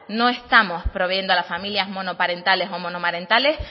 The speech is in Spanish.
no estamos proveyendo a las familias monoparentales o monomarentales